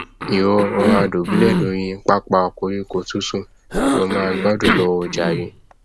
ìwọ rọra dùbúlẹ lóri pápá koríko tútù kí o máa gbádùn lọ o jàre